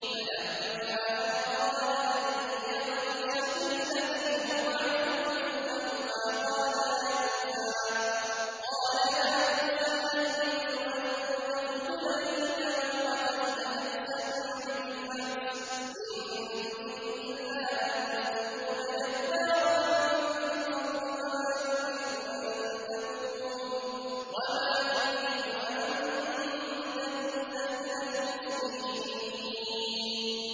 فَلَمَّا أَنْ أَرَادَ أَن يَبْطِشَ بِالَّذِي هُوَ عَدُوٌّ لَّهُمَا قَالَ يَا مُوسَىٰ أَتُرِيدُ أَن تَقْتُلَنِي كَمَا قَتَلْتَ نَفْسًا بِالْأَمْسِ ۖ إِن تُرِيدُ إِلَّا أَن تَكُونَ جَبَّارًا فِي الْأَرْضِ وَمَا تُرِيدُ أَن تَكُونَ مِنَ الْمُصْلِحِينَ